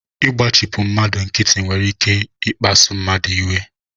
Ịgbachipu mmadụ nkịtị nwere ike ikpasu mmadụ iwe